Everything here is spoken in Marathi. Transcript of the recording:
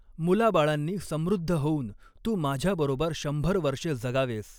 मुलाबाळांनी समृद्ध होऊन तू माझ्याबरोबर शंभर वर्षे जगावेस!